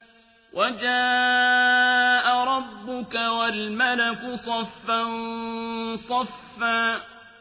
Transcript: وَجَاءَ رَبُّكَ وَالْمَلَكُ صَفًّا صَفًّا